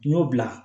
N y'o bila